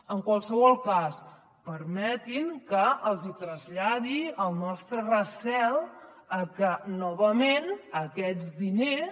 en qualsevol cas permetin que els traslladi el nostre recel a que novament aquests diners